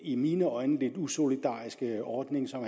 i mine øjne lidt usolidariske ordning som